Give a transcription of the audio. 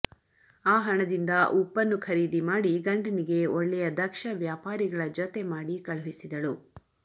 ಆ ಹಣದಿಂದ ಉಪ್ಪನ್ನು ಖರೀದಿ ಮಾಡಿ ಗಂಡನಿಗೆ ಒಳ್ಳೆಯ ದಕ್ಷ ವ್ಯಾಪಾರಿಗಳ ಜೊತೆಮಾಡಿ ಕಳುಹಿಸಿದಳು